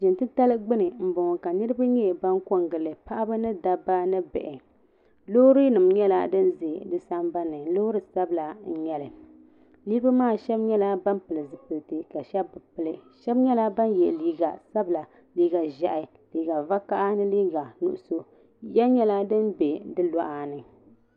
Jiŋa tili gbani m bɔŋɔ ka niriba nyɛ ban kɔŋ giŋli Paɣba ni dabba ni bihi loori nim nyɛla din bɛ bi Sambani loori sabla nyɛli niribi maa Sheba nyɛla bani pili zipilisi ka Sheba bi pili sheb nyɛla ban yɛa liiga sabinli liiga ʒɛhi liiga vakaha ni liiga nuɣiso yiya nyɛla din bɛ bi lɔɣa ni.